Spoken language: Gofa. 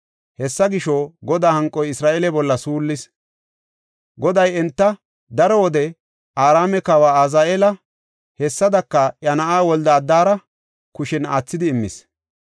Hessa gisho, Godaa hanqoy Isra7eele bolla suullis; Goday enta daro wode Araame kawa Azaheela, hessadaka iya na7aa Wolde-Adara kushen aathidi immis.